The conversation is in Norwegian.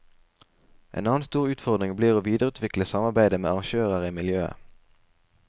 En annen stor utfordring blir å videreutvikle samarbeidet med arrangører i miljøet.